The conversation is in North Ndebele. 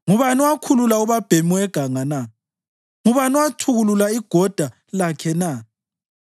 Ngubani owakhulula ubabhemi weganga na? Ngubani owathukulula igoda lakhe na?